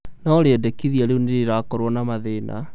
no rĩendekithia rĩu nĩrĩrakorwo na mathĩna